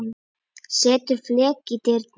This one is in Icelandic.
Settur fleki í dyrnar.